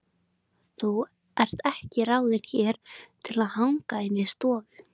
Þú ert ekki ráðin hér til að hanga inni í stofu.